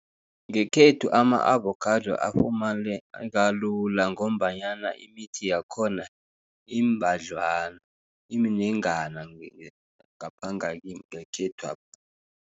Ngekhethu ama-avokhado afumaneka lula, ngombanyana imithi yakhona iimnengana ngapha ngekhethwapha.